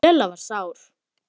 Lilla var sár.